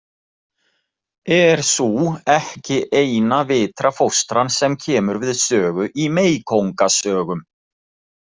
Er sú ekki eina vitra fóstran sem kemur við sögu í meykóngasögum.